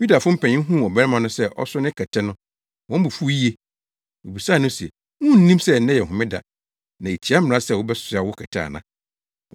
Yudafo mpanyin huu ɔbarima no sɛ ɔso ne kɛtɛ no, wɔn bo fuw yiye. Wobisaa no se, “Wunnim sɛ nnɛ yɛ homeda na etia mmara sɛ wobɛsoa wo kɛtɛ ana?”